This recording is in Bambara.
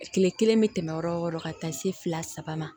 Kile kelen bɛ tɛmɛ yɔrɔ o yɔrɔ ka taa se fila saba ma